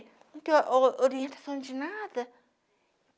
Não tinha ori orientação de nada.